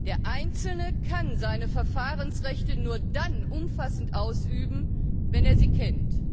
Der Einzelne kann seine Verfahrensrechte nur dann umfassend ausüben, wenn er sie kennt.